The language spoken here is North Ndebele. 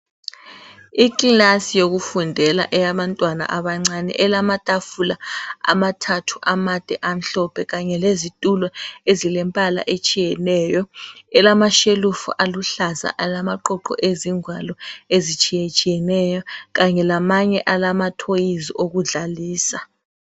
Ikilasi yokufundela eyabantwana abancane elamatafula amade amathathu kanye lezitulo ezilembala etshiyeneyo elamashelufu aluhlaza alamaqoqo ezingwalo ezitshiyeneyo Kanye lamanye alama toys okudlalisa.